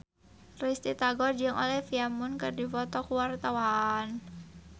Risty Tagor jeung Olivia Munn keur dipoto ku wartawan